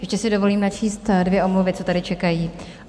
Ještě si dovolím načíst dvě omluvy, co tady čekají.